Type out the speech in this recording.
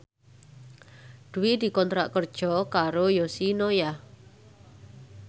Dwi dikontrak kerja karo Yoshinoya